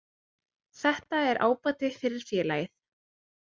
Þetta er ábati fyrir félagið.